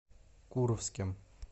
куровским